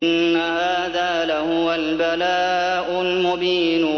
إِنَّ هَٰذَا لَهُوَ الْبَلَاءُ الْمُبِينُ